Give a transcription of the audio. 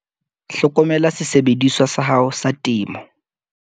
Hlokomela sesebediswa sa hao sa temo.